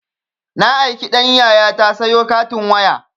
Na aiki ɗan yayata sayo katin waya